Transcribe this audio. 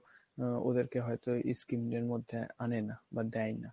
ওদেরকে হয়তো scheme এর মধ্যে আনে না বা দেয় না